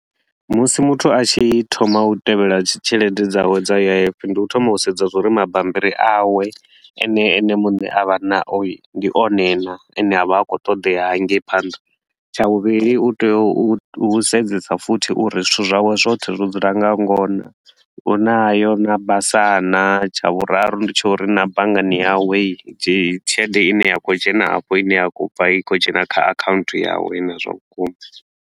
Musi muthu a tshi thoma u tevhela tshelede dzawe dza U_I_F, ndi u thoma u sedza zwa uri mabammbiri awe a ne ene muṋe a vha nao hii, ndi one naa a ne a vha a khou ṱoḓea hangei phanḓa. Tsha vhuvhili u tea u u sedzesa futhi uri zwithu zwawe zwothe zwo dzula nga ngona, u nayo naa basa naa. Tsha vhuraru ndi tsha uri na banngani yawe dzi tshelede i ne ya khou dzhena afho i ne ya khou bva i khou dzhena kha account yawe naa zwa vhukuma.